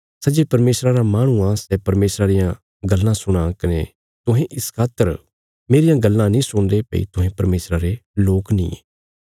सै जे परमेशरा रा माहणु आ सै परमेशरा रियां गल्लां सुणां कने तुहें इस खातर मेरियां गल्लां नीं सुणदे भई तुहें परमेशरा रे लोक नींये